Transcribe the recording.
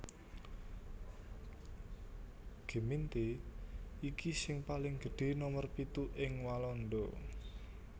Gemeente iki sing paling gedhé nomer pitu ing Walanda